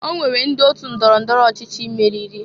O nwere ndị otu ndọrọ ndọro ọchịchị meriri.